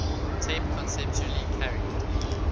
tape conceptually carried